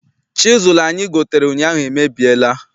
Chisụlụ anyi gotere ụnyaahụ emebiela.